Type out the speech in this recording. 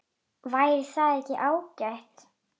Væri það ekki ágætt?